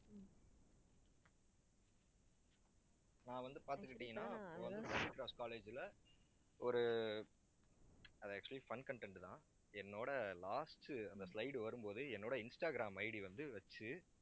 நான் வந்து பாத்துக்கிட்டீங்கன்னா college ல, ஒரு அது actually fun content தான். என்னோட last அந்த slide வரும்போதே என்னோட இன்ஸ்டாகிராம் ID வந்து வச்சு